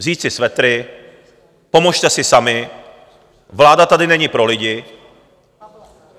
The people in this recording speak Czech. Vzít si svetry, pomozte si sami, vláda tady není pro lidi?